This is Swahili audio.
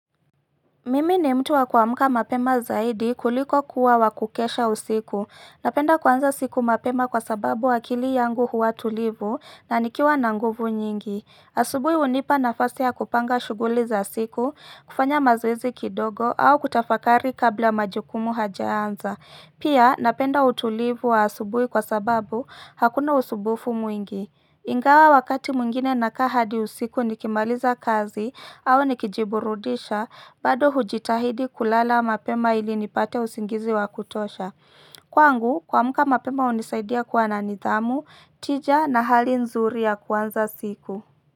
Mimi ni mtu wa kuamka mapema zaidi kuliko kuwa wa kukesha usiku. Napenda kuanza siku mapema kwa sababu akili yangu huwa tulivu na nikiwa na nguvu nyingi. Asubui hunipa nafasi ya kupanga shughuli za siku, kufanya mazoezi kidogo au kutafakari kabla majukumu hajaanza. Pia napenda utulivu wa asubui kwa sababu hakuna usubufu mwingi. Ingawa wakati mwingine nakaa hadi usiku nikimaliza kazi au nikijiburudisha, bado hujitahidi kulala mapema ili nipate usingizi wa kutosha. Kwangu, kuamka mapema hunisaidia kwa na nithamu, tija na hali nzuri ya kuanza siku.